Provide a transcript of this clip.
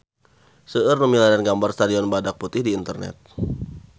Seueur nu milarian gambar Stadion Badak Putih di internet